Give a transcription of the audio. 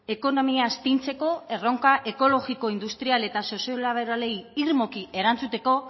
ekonomia astintzeko erronka ekologiko industrial eta soziolaboralei irmoki erantzuteko